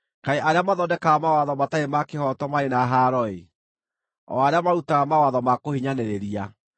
Kaĩ arĩa mathondekaga mawatho matarĩ ma kĩhooto marĩ na haaro-ĩ! o arĩa marutaga mawatho ma kũhinyanĩrĩria,